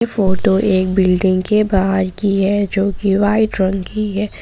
Photo एक building के बाहर की है जो की वाइट रंग की है।